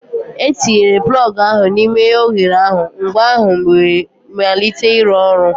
Etinyere plọg ahụ n'ime oghere ahụ, ngwa ahụ wee malite ịrụ ọrụ.